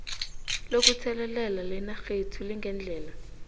lokutheleleka lenarhethu lingendlela